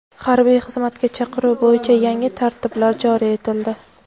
Harbiy xizmatga chaqiruv bo‘yicha yangi tartiblar joriy etildi.